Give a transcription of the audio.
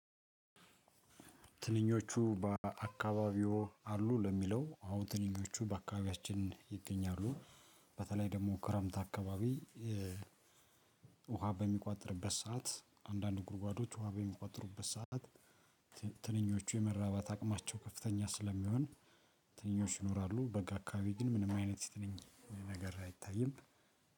ትንኞቹ በአካባቢዎ አሉ? ለሚለው አዎ ትንኞቹ በአካባቢያችን ይገኛሉ። በተለይ ደግሞ ክረምት አካባቢ ውሃ በሚቋጥርበት ሰዓት አንዳንድ ጉድጓዶች ውሃ በሚቋጥሩበት ሰዓት። ትንኞቹ የመራባት አቅማቸው ከፍተኛ ስለሚሆን ትንኞች ይኖራሉ። በጋ አካባቢ ግን ምንም አይነት ትነኝ ነገር አይታይም።